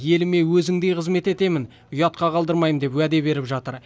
еліме өзіңдей қызмет етемін ұятқа қалдырмаймын деп уәде беріп жатыр